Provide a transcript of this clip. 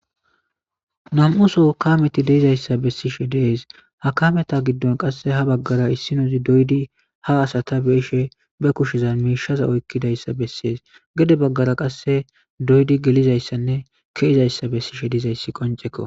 Nam'uso kameti deizayssa bessishe dees ha kameta giddon qasse ha baggara issinozi doydi ha asata beishe be kushizan miishaza oykkidayssa bessees gede baggara qasse doydi gelizayssanne keizayssa bessishe diizayssi qonceko.